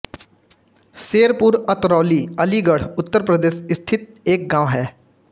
शेरपुर अतरौली अलीगढ़ उत्तर प्रदेश स्थित एक गाँव है